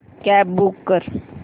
cab book कर